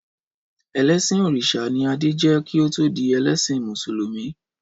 Ẹlẹsin Orisha ni Adé jẹ́ kí ó tó di ẹlẹ́sìn Mùsùlùmí.